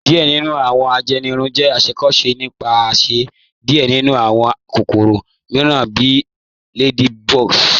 Diẹ̀ nínu awọn ajẹ́nìrùn jẹ́ ìṣakóṣò nípasẹ̀ diẹ̀ nínu awọn kòkòrò míìràn bí ladybugs.